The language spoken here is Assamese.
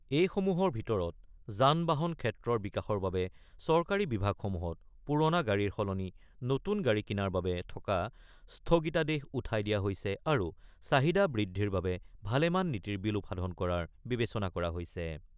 এইসমূহৰ ভিতৰত যান বাহন ক্ষেত্ৰৰ বিকাশৰ বাবে চৰকাৰী বিভাগসমূহত পূৰণা গাড়ীৰ সলনি নতুন গাড়ী কিনাৰ বাবে থকা স্থগিতাদেশ উঠাই দিয়া হৈছে আৰু চাহিদা বৃদ্ধিৰ বাবে ভালেমান নীতিৰ বিলোপ সাধন কৰাৰ বিবেচনা কৰা হৈছে।